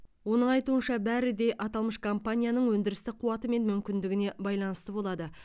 оның айтуынша бәрі де аталмыш компанияның өндірістік қуаты мен мүмкіндігіне байланысты болады